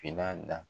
Finna da